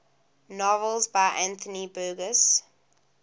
novels by anthony burgess